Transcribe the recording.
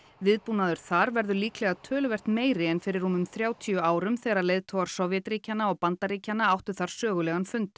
viðbúnaður þar verður töluvert meiri en fyrir rúmum þrjátíu árum þegar leiðtogar Sovétríkjanna og Bandaríkjanna áttu sögulegan fund